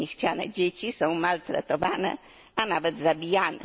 Niechciane dzieci są maltretowane, a nawet zabijane.